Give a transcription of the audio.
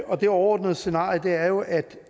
og det overordnede scenarie er jo at